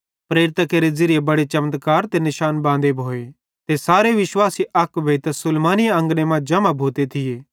प्रेरितां केरे ज़िरीये बड़े चमत्कार ते निशान बांदे भोए ते सारे विश्वासी अक भोइतां सुलैमानी अंगने मां जम्हां भोते थिये